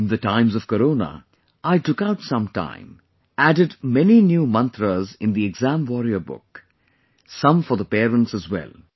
In the times of Corona, I took out some time, added many new mantras in the exam warrior book; some for the parents as well